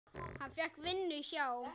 Hann fékk vinnu hjá